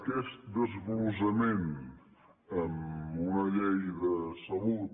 aquest desglossament en una llei de salut